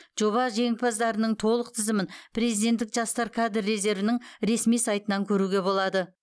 жоба жеңімпаздарының толық тізімін президенттік жастар кадр резервінің ресми сайтынан көруге болады